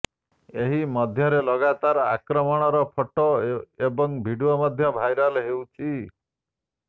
ଏହି ମଧ୍ୟରେ ଲଗାତାର ଆକ୍ରମଣର ଫଟୋ ଏବଂ ଭିଡିଓ ମଧ୍ୟ ଭାଇରାଲ ହେଉଛି